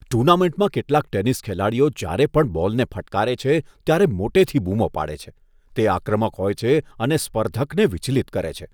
ટુર્નામેન્ટમાં કેટલાક ટેનિસ ખેલાડીઓ જ્યારે પણ બોલને ફટકારે છે, ત્યારે મોટેથી બૂમો પાડે છે, તે આક્રમક હોય છે અને સ્પર્ધકને વિચલિત કરે છે.